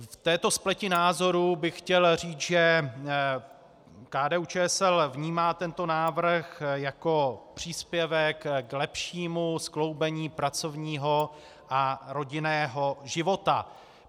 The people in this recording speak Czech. V této spleti názorů bych chtěl říct, že KDU-ČSL vnímá tento návrh jako příspěvek k lepšímu skloubení pracovního a rodinného života.